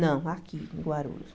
Não, aqui em Guarulhos.